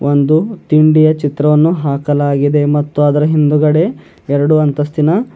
ಒಂದು ತಿಂಡಿಯ ಚಿತ್ರವನ್ನು ಹಾಕಲಾಗಿದೆ ಮತ್ತು ಅದರ ಹಿಂದುಗಡೆ ಎರಡು ಅಂತಸ್ತೀನ--